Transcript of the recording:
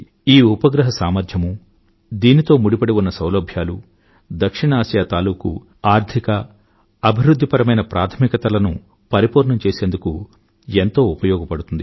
ఈ ఉపగ్రహం సామర్థ్యమూ దీనితో ముడిపడిఉన్న సౌలభ్యాలు దక్షిణఆసియా తాలూకూ ఆర్థిక అభివృధ్ధిపరమైన ప్రాథమికతలను పరిపూర్ణం చేసుకునేందుకు ఎంతో ఉపయోగపడుతుంది